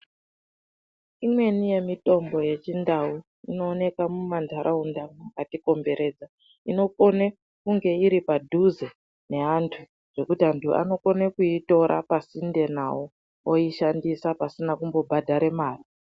Imweni yemitombo yeChiNdau inooneka mumantaraunda makatikomberedza. Inokone kunge iri padhuze neantu zvekuti antu anokone kuitora pasinde nawo, oishandisa pasina kumbobhadhara mare.